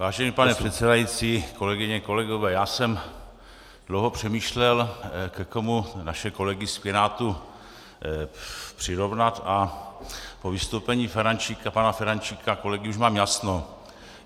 Vážený pane předsedající, kolegyně, kolegové, já jsem dlouho přemýšlel, ke komu naše kolegy z Pirátů přirovnat, a po vystoupení Ferjenčíka, pana Ferjenčíka, kolegy, už mám jasno.